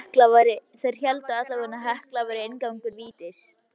Þeir héldu allavega að Hekla væri inngangur vítis.